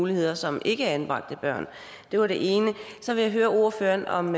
muligheder som ikkeanbragte børn det var det ene så vil jeg høre ordføreren om